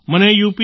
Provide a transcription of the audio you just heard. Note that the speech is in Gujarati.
મને યુ